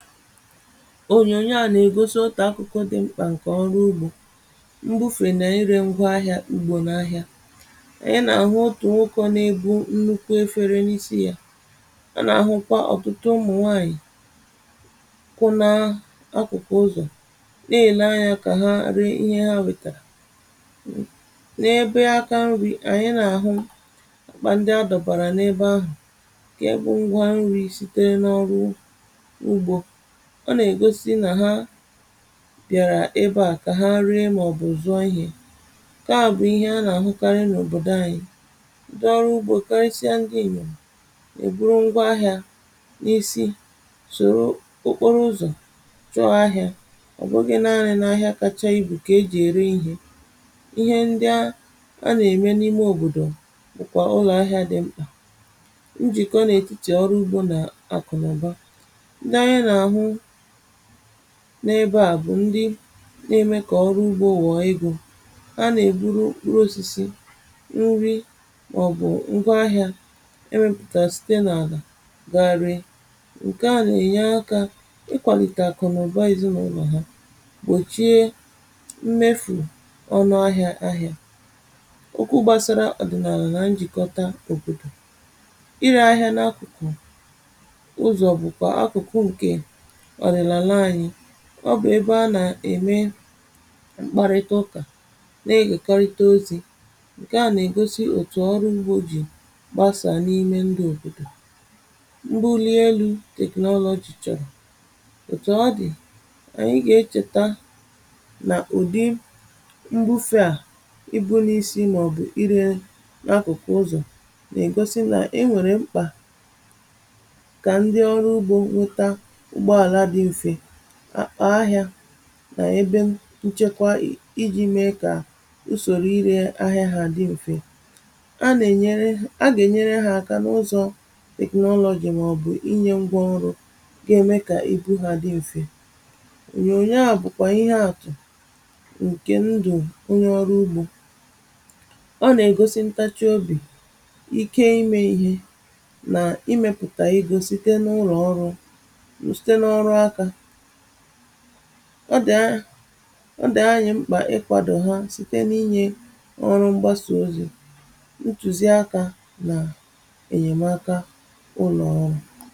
ònyònyo à nà-ègosi otà akụkọ dị mkpà, um ǹkè ọrụ ugbȯ mbufè nà ànyị rėngwa ahịȧ. M̀gbè nà ahịa, ànyị nà-àhụ otù nwụkọ n’ebu nnukwu efere n’isi yȧ, um a nà-àhụkwa ọ̀tụtụ ụmụ̀ nwaànyị̀ kụ nȧ akụkụ ụzọ̀ nà-èle anyȧ kà ha ree ihe ha wètàrà n’ebe aka. Mri̇, ànyị nà-àhụ bà ndị adọ̀bàrà n’ebe ahụ̀ ǹkè bụ̇ ngwa nri̇ sitere n’ọrụ bìàrà ebe à kà ha nri, mà ọ̀ bụ̀ zụọ ihė. Kaà bụ̀ ihe a nà-àhụkarị n’òbòdò anyị̇, ǹdị ọrụ ugbȯ karịsịa, um m gȧ ènyò èburu ngwa ahịȧ n’isi, tụrụ okporo ụzọ̀, chọọ ahịȧ.Ọ̀ bụgị nȧȧrị n’ahịa kacha ibù kà ejì ère ihe; ihe ndi a nà-ème n’ime òbòdò bụ̀kwà ụlọ̀ ahịa dị mkpà. M jìkọ n’ètichè ọrụ ugbȯ nà àkụnụ̀ba. N’ebe à bụ̀ ndị n’ime kà ọrụ ugbȯ ụ̀wọ̀ igȯ ha nà-èburu urù osisi nri, màọ̀bụ̀ nkwa ahịȧ e mepùta site n’àga gagarị. ǹkè à nà-ènye akȧ ikwàlìtà kụ̀ nà ụ̀ba ìzinàụlọ̀ ha, gbòchie mmefù ọnụ ahịȧ. Ahịȧ ụkwụ gbasara ọ̀dị̀nààlà njìkọta òpòtò irė ahịȧ n’akụ̀kụ̀ ụzọ̀ bụ̀kwà akụ̀kụ, um ǹke ọ bụ̀ ebe a nà-ème mkparịta ụkà nà-ehèkọrịta ozi̇. ǹkè a nà-ègosi òtù ọrụ mgbe o jì gbasà n’ime ndị òbòdò, um mbụ li elu̇ technology chọrọ̀ òtù ọ dị̀. Ànyi gà-echèta nà ụ̀dị mbufe à ibu̇ n’isi, màọ̀bụ̀ irė n’akụ̀kụ̀ ụzọ̀ — nà-ègosi na e nwèrè mkpà ahịa nà ebe nchekwa iji̇ mee kà usòrò irė ahịa hȧ dị mfe. A nà-ènyere, a gà-ènyere hȧ aka n’ụzọ̇ technology, màọ̀bụ̀ inyė mgbȧ nrọ, ge me kà èbu hȧ dị mfe. Ònyònyo a bụ̀kwà ihe àtụ̀ ǹkè ndụ̀ onye ọrụ ugbȯ. Ọ nà-ègosi ntachi obì, um ike ime ihe nà imepùtà i gȯ site n’ụrọ̀ ọrụ. Ọ dị̀ a, ọ dị̀ anyị̇ mkpà ị kwàdò ha site n’inyė ọrụ mgbasị ozi̇, ntùzi akȧ, nà ènyèmaka ụlọ̀ ọrụ̇.